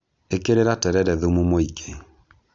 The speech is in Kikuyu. ĩkĩrĩra terere thumu mũingĩ